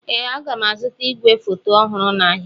Ee, aga m azụta igwefoto ọhụrụ n'ahịa.